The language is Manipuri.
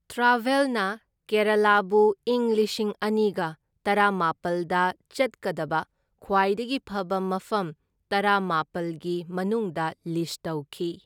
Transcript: ꯇ꯭ꯔꯥꯚꯦꯜꯅ ꯀꯦꯔꯥꯂꯥꯕꯨ ꯏꯪ ꯂꯤꯁꯤꯡ ꯑꯅꯤꯒ ꯇꯔꯥꯃꯥꯄꯜꯗ ꯆꯠꯀꯗꯕ ꯈ꯭ꯋꯥꯏꯗꯒꯤ ꯐꯕ ꯃꯐꯝ ꯇꯔꯥꯃꯥꯄꯜꯒꯤ ꯃꯅꯨꯡꯗ ꯂꯤꯁꯠ ꯇꯧꯈꯤ꯫